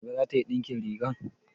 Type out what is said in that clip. Asabe za ta yi ɗinkin riga?